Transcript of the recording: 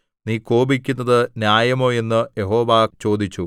നീ കോപിക്കുന്നതു ന്യായമോ എന്ന് യഹോവ ചോദിച്ചു